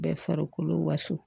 Bɛɛ farikolo waso